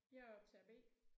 Jeg er optager B